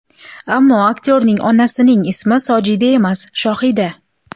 Ammo aktyorning onasining ismi Sojida emas, Shohida.